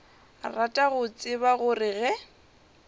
rata go tseba gore ge